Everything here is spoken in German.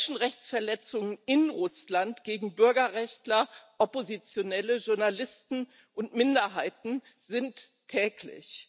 Menschenrechtsverletzungen in Russland gegen Bürgerrechtler, oppositionelle Journalisten und Minderheiten sind alltäglich.